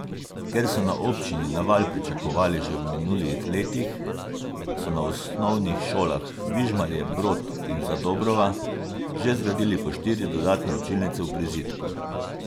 Ker so na občini naval pričakovali že v minulih letih, so na osnovnih šolah Vižmarje Brod in Zadobrova že zgradili po štiri dodatne učilnice v prizidku.